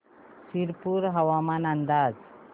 शिरपूर हवामान अंदाज